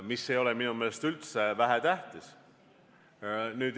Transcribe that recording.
See ei ole minu meelest üldse vähetähtis.